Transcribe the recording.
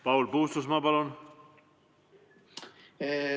Paul Puustusmaa, palun!